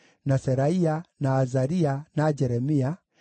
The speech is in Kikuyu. na Seraia, na Azaria, na Jeremia,